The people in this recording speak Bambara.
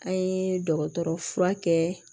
An ye dɔgɔtɔrɔ fura kɛ